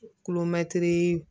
Kulomɛtiri